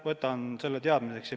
Võtan selle teadmiseks.